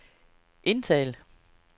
indtal